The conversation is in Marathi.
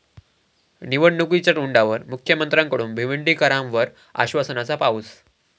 निवडणुकीच्या तोंडावर मुख्यमंत्र्यांकडून भिवंडीकरांवर आश्वासनाचा पाऊस